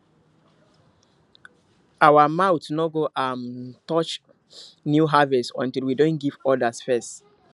our mouth no go um touch new harvest until we don give others first